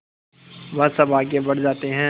वह सब आगे बढ़ जाते हैं